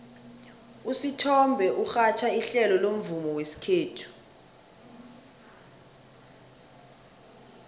usithombe urhatjha ihlelo lomvumo wesikhethu